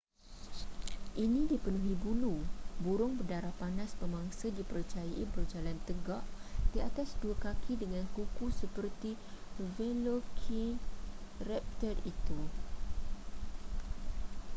ini dipenuhi bulu burung berdarah panas pemangsa dipercayai berjalan tegak di atas dua kaki dengan kuku seperti velociraptor itu